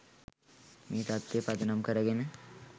මේ තත්වය පදනම් කරගෙන